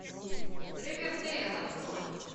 ривердэйл открой